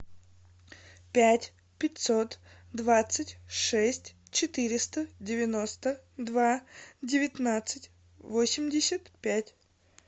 пять пятьсот двадцать шесть четыреста девяносто два девятнадцать восемьдесят пять